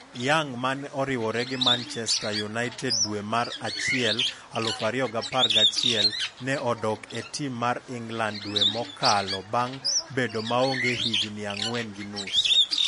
Young mane oriwre gi Manchseter United dwe mar auchiel 2011, ne odok e tim mar England dwe mokalo bang' bedo maonge higni ang'wen gi nus.